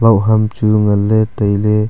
loh ham chu nganley tailey.